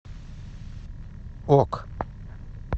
ок